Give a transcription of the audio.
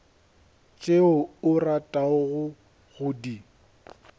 tšeo o ratago go di